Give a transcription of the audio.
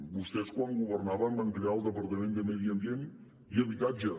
vostès quan governaven van crear el departament de medi ambient i habitatge